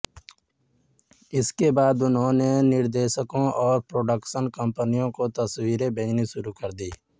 इसके बाद उन्होंने निर्देशकों और प्रोडक्शन कंपनियों को तस्वीरें भेजनी शुरू कीं